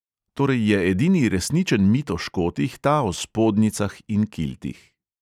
Torej je edini resničen mit o škotih ta o spodnjicah in kiltih.